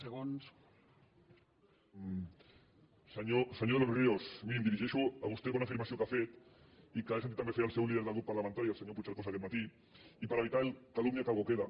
senyor de los ríos miri em dirigeixo a vostè per una afirmació que ha fet i que he sentit també fer al seu líder del grup parlamentari el senyor puigcercós aquest matí i per evitar el calumnia que algo queda